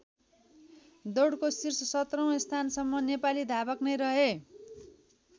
दौडको शीर्ष १७औँ स्थानसम्म नेपाली धावक नै रहे।